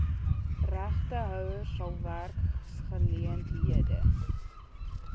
regtehouers sal werksgeleenthede